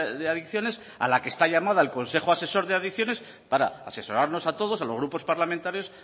de adicciones a la que está llamada el consejo asesor de adicciones para asesorarnos a todos a los grupos parlamentarios